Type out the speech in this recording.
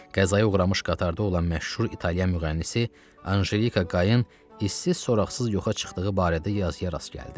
Qəzaya uğramış qatarda olan məşhur italyan müğənnisi Anjelika Qayrın izsiz-soraqsız yoxa çıxdığı barədə yazıya rast gəldi.